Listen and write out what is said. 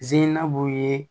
Ziinabu ye